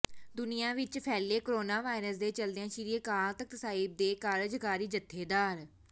ਦੁਨੀਆ ਵਿਚ ਫੈਲੇ ਕੋਰੋਨਾ ਵਾਇਰਸ ਦੇ ਚੱਲਦਿਆਂ ਸ੍ਰੀ ਅਕਾਲ ਤਖਤ ਸਾਹਿਬ ਦੇ ਕਾਰਜਕਾਰੀ ਜਥੇਦਾਰ